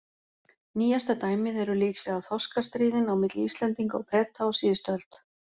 Nýjasta dæmið eru líklega þorskastríðin á milli Íslendinga og Breta á síðust öld.